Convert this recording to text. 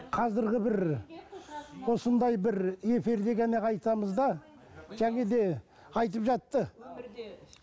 қазіргі бір осындай бір эфирде ғана айтамыз да және де айтып жатты